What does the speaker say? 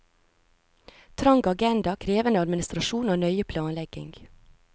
Trang agenda, krevende administrasjon og nøye planlegging.